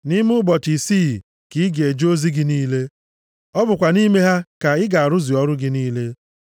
Nʼime ụbọchị isii ka ị ga-eje ozi gị niile. Ọ bụkwa nʼime ha ka ị ga-arụzu ọrụ gị niile.